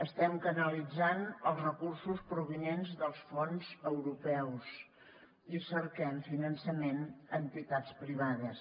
estem canalitzant els recursos provinents dels fons europeus i cerquem finançament a entitats privades